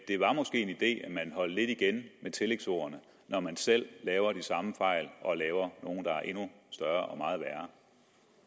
man holdt lidt igen med tillægsordene når man selv laver de samme fejl og laver nogle der er endnu større